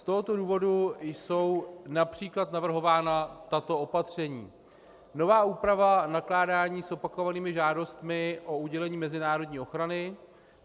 Z tohoto důvodu jsou například navrhována tato opatření: Nová úprava nakládání s opakovanými žádostmi o udělení mezinárodní ochrany.